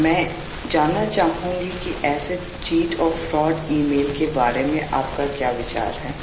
मला याबाबत तुमचे विचार जाणून घ्यायचे आहेत